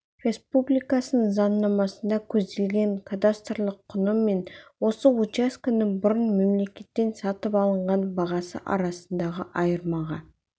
республикасының заңнамасында көзделген кадастрлық құны мен осы учаскенің бұрын мемлекеттен сатып алынған бағасы арасындағы айырмаға